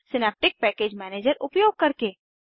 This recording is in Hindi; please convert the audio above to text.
सिनैप्टिक पैकेज मैनेजर उपयोग करके